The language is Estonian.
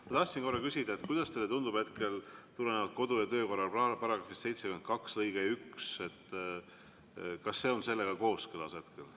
Ma tahtsin küsida, kuidas teile tundub hetkel tulenevalt kodu‑ ja töökorra seadue § 72 lõikest 1, et kas see on sellega kooskõlas hetkel.